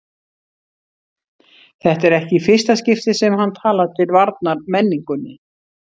Þetta er ekki í fyrsta skipti sem hann talar til varnar menningunni.